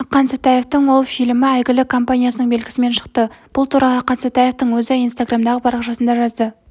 ақан сатаевтың ол фильмі әйгілі компаниясының белгісімен шықты бұл туралы ақан сатаевтың өзі инстаграмдағы парақшасында жазды